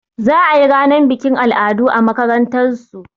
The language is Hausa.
Za a yi ranar bikin al'adu a makarantasu.